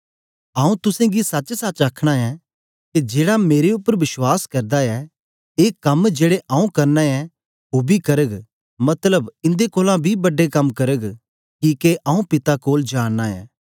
आऊँ तुसेंगी सचसच आखना ऐं के जेड़ा मेरे उपर बश्वास करदा ऐ ए कम जेड़े आऊँ करना ऐं ओ बी करग मतलब इन्दे कोलां बी बड्डे कम्म करग किके आऊँ पिता कोल जा नां ऐं